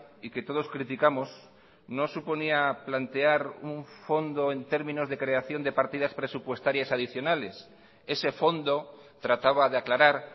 y que todos criticamos no suponía plantear un fondo en términos de creación de partidas presupuestarias adicionales ese fondo trataba de aclarar